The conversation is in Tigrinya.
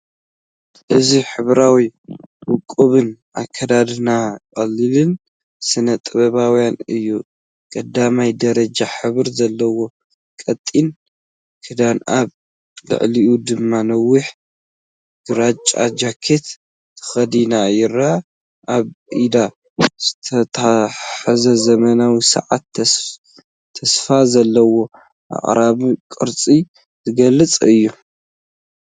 እዚ ሕብራዊን ውቁብን ኣከዳድና ቀሊልን ስነ-ጥበባውን እዩ። ቀዳማይ ደረጃ ሕብሪ ዘለዎ ቀጢን ክዳን ኣብ ልዕሊኡ ድማ ነዊሕ ግራጭ ጃኬት ተኸዲና ይርአ። ኣብ ኢዳ ዝተታሕዘ ዘመናዊ ሰዓትን ተስፋ ዘለዎ ኣቀራርባ ቅርጺን ዝገልጽ እዩ።